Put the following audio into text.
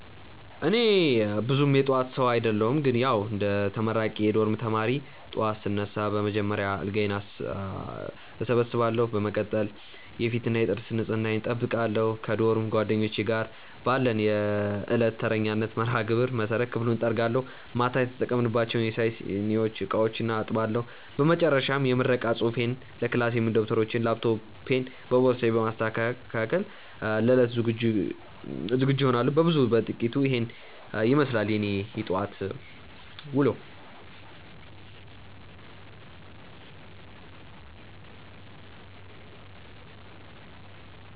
እኔ ብዙም የጠዋት ሰው አደለሁም ግን ያዉ እንደ አንድ ተመራቂ የዶርም ተማሪ፣ ጠዋት ስነሳ በመጀመሪያ አልጋዬን እሰበስባለሁ። በመቀጠል የፊትና የጥርስ ንጽህናዬን እጠብቃለሁ። ከዶርም ጓደኞቼ ጋር ባለን የዕለት ተረኛነት መርሃግብር መሰረት ክፍሉን እጠርጋለሁ፤ ማታ የተጠቀምንባቸውን የሻይ ሲኒዎችና ዕቃዎችም አጥባለሁ። በመጨረሻም የምረቃ ፅሁፌንና ለክላስ የሚሆኑ ደብተሮቼንና ላፕቶፔን በቦርሳዬ በማስተካከል ለዕለቱ ዝግጁ እሆናለሁ። ከብዙ በጥቂቱ ኢሄን ይመስላል የኔ የጠዋት ዉሎ።